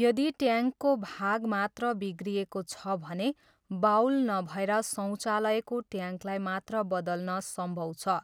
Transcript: यदि ट्याङ्कको भाग मात्र बिग्रिएको छ भने बाउल नभएर शौचालयको ट्याङ्कलाई मात्र बदल्न सम्भव छ,